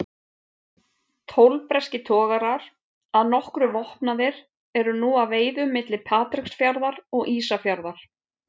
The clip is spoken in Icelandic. Tólf breskir togarar, að nokkru vopnaðir, eru nú að veiðum milli Patreksfjarðar og Ísafjarðar.